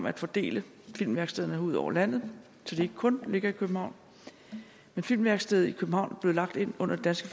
at fordele filmværkstederne ud over landet så de ikke kun ligger i københavn filmværkstedet i københavn blev lagt ind under det